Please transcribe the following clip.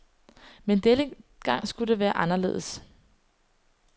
Men denne gang skulle det være anderledes.